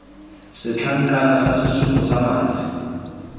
setlankana sa sesupo sa madi